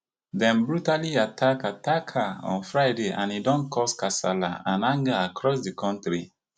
dem brutally attack attack her on friday and e don cause kasala and anger across di kontri